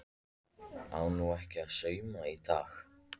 Á nú ekkert að sauma í dag?